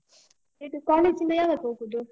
ಇದು college ಇಂದ ಯಾವಾಗ್ ಹೋಗುದು?